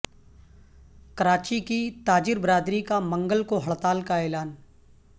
کراچی کی تاجر برادری کا منگل کو ہڑتال کا اعلان